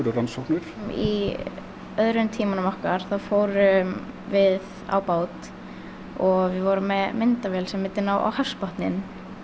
rannsóknir í öðrum tímanum okkar þá fórum við á bát og við vorum með myndavél sem myndi ná á hafsbotninn